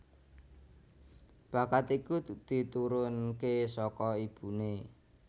Bakat iku diturunke saka ibuné